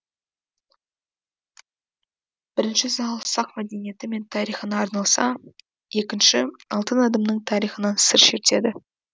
бірінші зал сақ мәдениеті мен тарихына арналса екінші алтын адамның тарихынан сыр шертеді